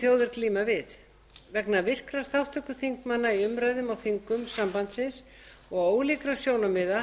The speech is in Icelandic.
þjóðir glíma við vegna virkrar þátttöku þingmanna í umræðum á þingum sambandsins og ólíkra sjónarmiða